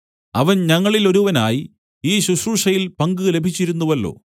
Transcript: അവൻ ഞങ്ങളിലൊരുവനായി ഈ ശുശ്രൂഷയിൽ പങ്ക് ലഭിച്ചിരുന്നുവല്ലോ